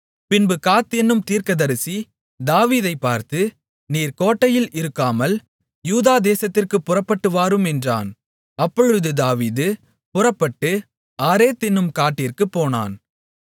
பின்பு காத் என்னும் தீர்க்கதரிசி தாவீதைப் பார்த்து நீர் கோட்டையில் இருக்காமல் யூதா தேசத்திற்குப் புறப்பட்டு வாரும் என்றான் அப்பொழுது தாவீது புறப்பட்டு ஆரேத் என்னும் காட்டிற்கு போனான்